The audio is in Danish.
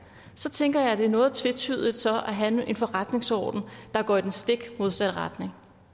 så tænker jeg at det er noget tvetydigt så at have en forretningsorden der går i den stik modsatte retning